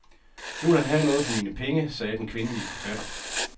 Nu vil han have noget for mine penge, sagde den kvindelige forfatter.